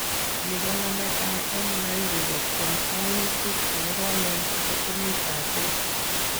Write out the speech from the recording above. Nii komanetai en Lahiri kotyeem kwangutik chekoromen chebo oriit ab beek.